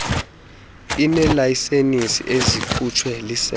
ineelayisenisi ezikhutshwe lisebe